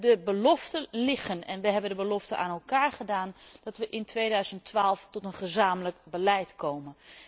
De beloften zijn er en we hebben de belofte aan elkaar gedaan dat we in 2012 tot een gezamenlijk beleid komen.